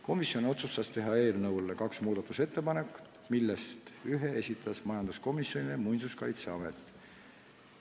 Komisjon otsustas teha eelnõu kohta kaks muudatusettepanekut, millest ühe esitas majanduskomisjonile Muinsuskaitseamet.